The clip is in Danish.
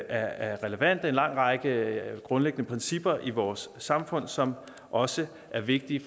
er relevante en lang række grundlæggende principper i vores samfund som også er vigtige